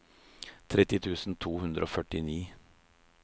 tretti tusen to hundre og førtini